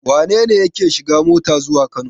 Wane ne yake shiga mota zuwa Kano?